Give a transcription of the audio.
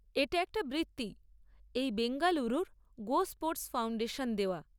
এটা একটা বৃত্তি এই বেঙ্গালুরুর গোস্পোর্টস ফাউণ্ডেশন দেওয়া।